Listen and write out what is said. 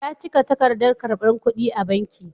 Ya cike takardar karbar kudi a banki.